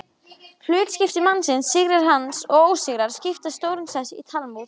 Hlutskipti mannsins, sigrar hans og ósigrar, skipa stóran sess í Talmúð.